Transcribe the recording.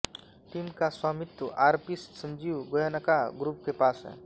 team का स्वामित्व RP Sanjiv Goenka group के पास है